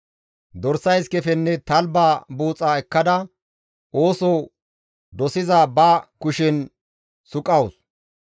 Dorsa iskefenne talbba buuxa ekkada, ooso dosiza ba kushen suqawus.